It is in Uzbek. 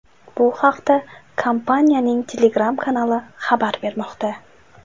Bu haqda kompaniyaning Telegram kanali xabar bermoqda .